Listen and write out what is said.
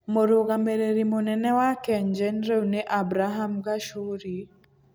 Mũrũgamĩrĩri mũnene wa KenGen rĩu nĩ Abraham Gachuri.